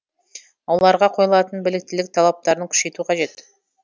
оларға қойылатын біліктілік талаптарын күшейту қажет